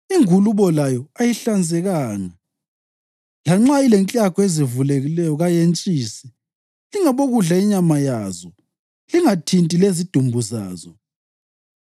Ingulube layo ayihlanzekanga; lanxa ilenklagu ezivulekileyo kayentshisi. Lingabokudla inyama yazo, lingathinti lezidumbu zazo.